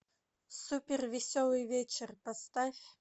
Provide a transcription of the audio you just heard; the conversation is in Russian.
супер веселый вечер поставь